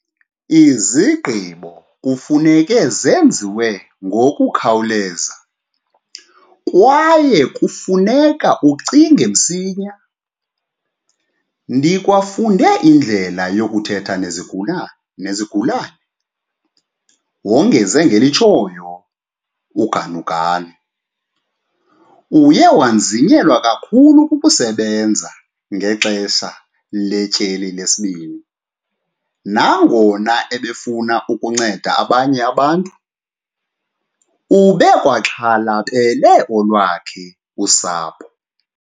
"Izigqibo kufuneka zenziwe ngokukhawuleza kwaye kufu neka ucinge msinyane. Ndikwafunde indlela yokuthetha nezigulane nezigulane," wongeze ngelitshoyo. UGanuganu uye wanzinyelwa kakhulu kukusebenza ngexesha letyeli lesibini. Nangona ebefuna ukunceda abanye abantu, ubekwaxhalabele olwakhe usapho.